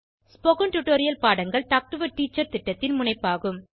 spoken tutorial பாடங்கள் talk to a teacher திட்டத்தின் முனைப்பாகும்